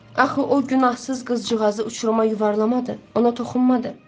Axı o günahsız qızcığazı uçuruma yuvarlamadı, ona toxunmadı.